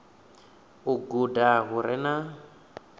u guda hu re na